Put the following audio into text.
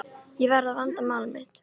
Ég verð að vanda mál mitt.